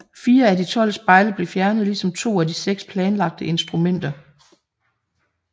Fire af de tolv spejle blev fjernet ligesom to af de seks planlagte instrumenter